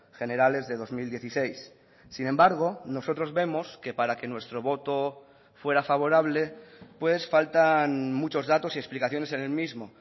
generales de dos mil dieciséis sin embargo nosotros vemos que para que nuestro voto fuera favorable faltan muchos datos y explicaciones en el mismo